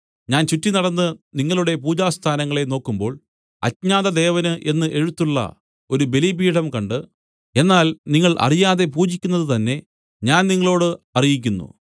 ഞാൻ ചുറ്റിനടന്ന് നിങ്ങളുടെ പൂജാസ്ഥാനങ്ങളെ നോക്കുമ്പോൾ അജ്ഞാതദേവന് എന്ന് എഴുത്തുള്ള ഒരു ബലിപീഠം കണ്ട് എന്നാൽ നിങ്ങൾ അറിയാതെ പൂജിക്കുന്നതുതന്നെ ഞാൻ നിങ്ങളോട് അറിയിക്കുന്നു